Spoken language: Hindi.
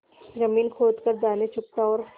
जमीन खोद कर दाने चुगता और